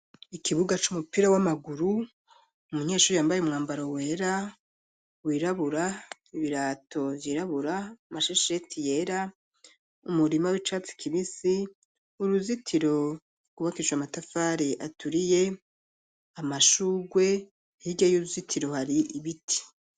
Ikibuga c'umupira w'amaguru umunyeshuri yambaye umwambaro wera wirabura ibirato vyirabura amashesheti yera umurima w'icatsi kibisi uruzitiro gubakishijwe amatafari aturiye amashurwe hirya y'uruzitiro hari ibiti.